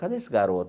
Cadê esse garoto?